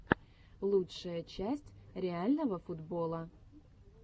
лучшая часть реального футбола